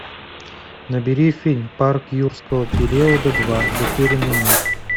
набери фильм парк юрского периода два затерянный мир